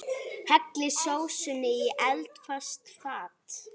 Hellið sósunni í eldfast fat.